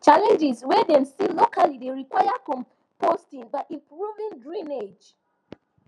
challenges wey dem see locally dey require composting by improving drainage